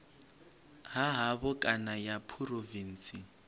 ha havho kana ya phurovintsi